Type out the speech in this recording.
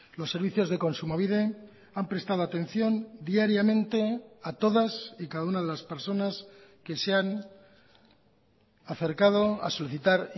los servicios de kontsumobide han prestado atención diariamente a todas y cada una de las personas que se han acercado a solicitar